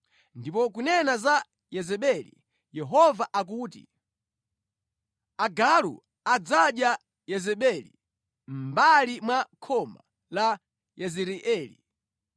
“Ndipo kunena za Yezebeli, Yehova akuti, ‘Agalu adzadya Yezebeli mʼmbali mwa khoma la Yezireeli.’